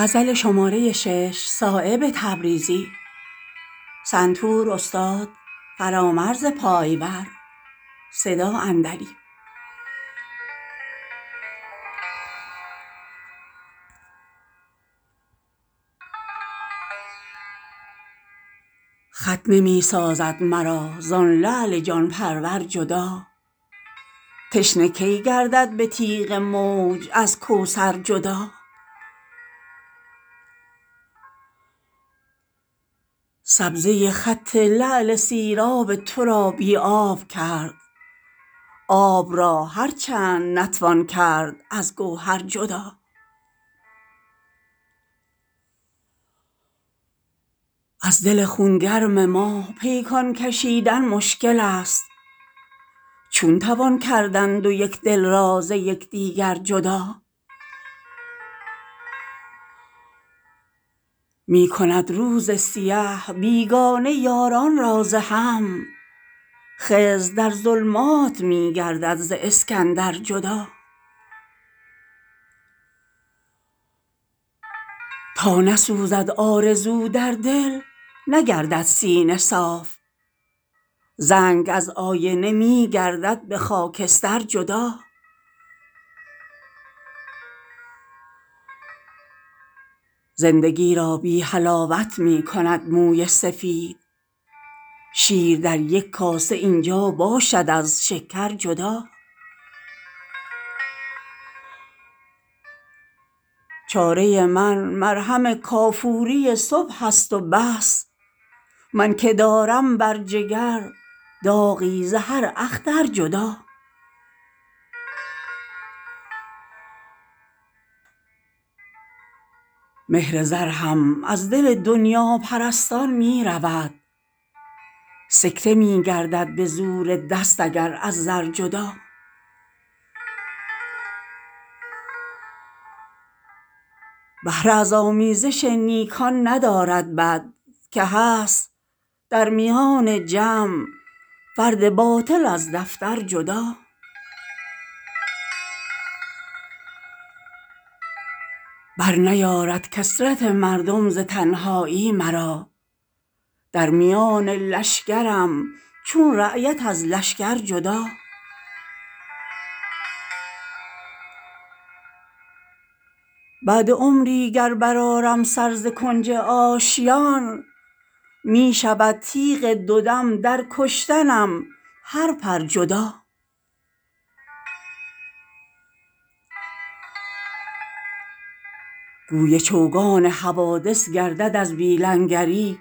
خط نمی سازد مرا زان لعل جان پرور جدا تشنه کی گردد به تیغ موج از کوثر جدا سبزه خط لعل سیراب تو را بی آب کرد آب را هرچند نتوان کرد از گوهر جدا از دل خونگرم ما پیکان کشیدن مشکل است چون توان کردن دو یکدل را ز یکدیگر جدا می کند روز سیه بیگانه یاران را ز هم خضر در ظلمات می گردد ز اسکندر جدا تا نسوزد آرزو در دل نگردد سینه صاف زنگ از آیینه می گردد به خاکستر جدا زندگی را بی حلاوت می کند موی سفید شیر در یک کاسه اینجا باشد از شکر جدا چاره من مرهم کافوری صبح است و بس من که دارم بر جگر داغی ز هر اختر جدا مهر زر هم از دل دنیاپرستان می رود سکته می گردد به زور دست اگر از زر جدا بهره از آمیزش نیکان ندارد بد که هست در میان جمع فرد باطل از دفتر جدا بر نیارد کثرت مردم ز تنهایی مرا در میان لشکرم چون رایت از لشکر جدا بعد عمری گر بر آرم سر ز کنج آشیان می شود تیغ دو دم در کشتنم هر پر جدا گوی چوگان حوادث گردد از بی لنگری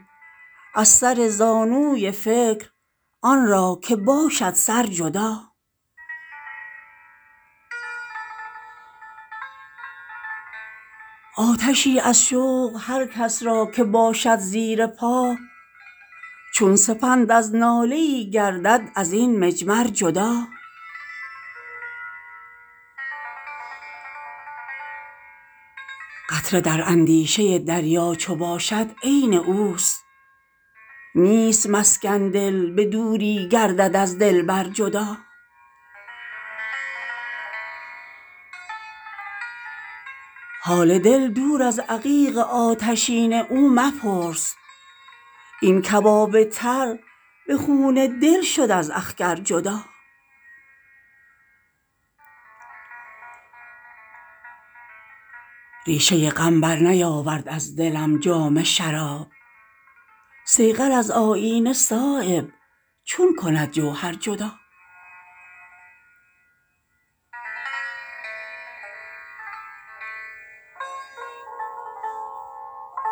از سر زانوی فکر آن را که باشد سر جدا آتشی از شوق هر کس را که باشد زیر پا چون سپند از ناله ای گردد از این مجمر جدا قطره در اندیشه دریا چو باشد عین اوست نیست ممکن دل به دوری گردد از دلبر جدا حال دل دور از عقیق آتشین او مپرس این کباب تر به خون دل شد از اخگر جدا ریشه غم بر نیاورد از دلم جام شراب صیقل از آیینه صایب چون کند جوهر جدا